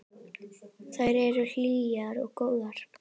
Þær eru hlýjar og góðar.